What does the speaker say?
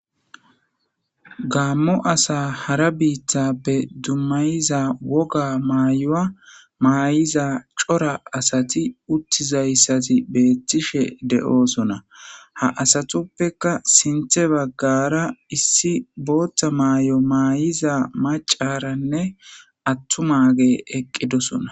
Gaammo asa hara biittappe dummayiza woga maayoa maayiza cora asati uttizayssati beettishe de'oosona ha asatuppeka sinthe baggara issi bootta maay'o maayiza macaranne attu mage eqqidosona